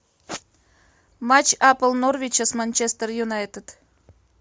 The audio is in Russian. матч апл норвича с манчестер юнайтед